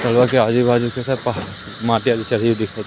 के आजू बाजू सिर्फ --